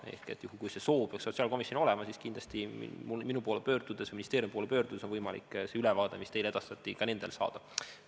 Ehk juhul kui see soov peaks sotsiaalkomisjonil olema, siis kindlasti minu poole pöördudes, ministeeriumi poole pöördudes on võimalik see ülevaade, mis teile edastati, ka nendel saada.